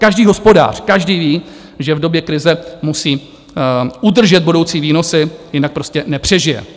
Každý hospodář, každý ví, že v době krize musí udržet budoucí výnosy, jinak prostě nepřežije.